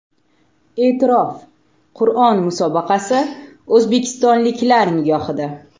E’tirof: Qur’on musobaqasi o‘zbekistonliklar nigohida.